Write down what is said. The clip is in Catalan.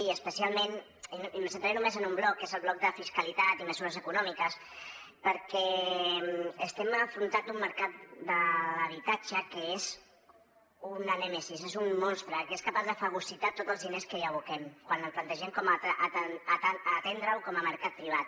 i especialment em centraré només en un bloc que és el bloc de fiscalitat i mesures econòmiques perquè estem afrontant un mercat de l’habitatge que és una nèmesi és un monstre que és capaç de fagocitar tots els diners que hi aboquem quan plantegem atendre’l com a mercat privat